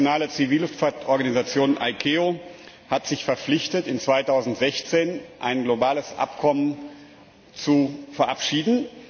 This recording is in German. Die internationale Zivilluftfahrtorganisation ICAO hat sich verpflichtet, 2016 ein globales Abkommen zu verabschieden.